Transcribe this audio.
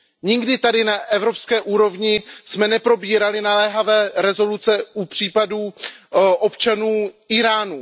Nikdy tady na evropské úrovni jsme neprobírali naléhavé rezoluce u případů občanů Íránu.